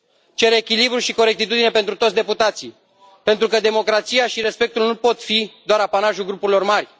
Cer echilibru și corectitudine pentru toți deputații, pentru că democrația și respectul nu pot fi doar apanajul grupurilor mari.